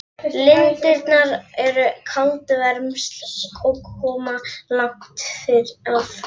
Lindirnar eru kaldavermsl og koma langt að.